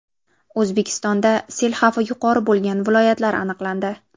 O‘zbekistonda sel xavfi yuqori bo‘lgan viloyatlar aniqlandi.